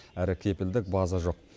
әрі кепілдік база жоқ